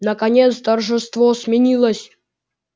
наконец торжество сменилось